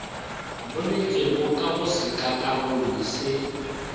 boletswego ka go sekakarolo se